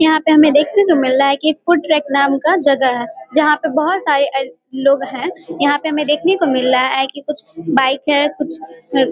यहाँ पर हमे देखने को मिल रहा है की एक फूड ट्रैक नाम का एक जगह है जहाँ पे बहुत सारे लोग है यहाँ पे हमे देखने को मिल रहा है की कुछ बाइक है।